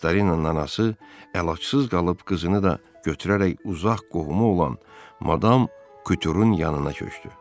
Viktorinanın anası əlacsız qalıb qızını da götürərək uzaq qohumu olan Madam Kuturun yanına köçdü.